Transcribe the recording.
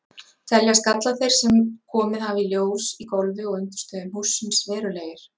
Teljast gallar þeir, sem komið hafa í ljós í gólfi og undirstöðum hússins, verulegir?